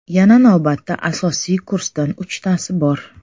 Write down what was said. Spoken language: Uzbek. Yana navbatda asosiy kursdan uchtasi bor.